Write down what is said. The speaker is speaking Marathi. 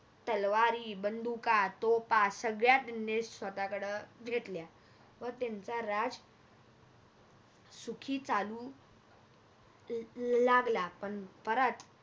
तलवारी बंदुका तोफा सगळ्याच नीट स्वतःकड घेतल्या व त्यांच राज सुखी चालू लागला पण परत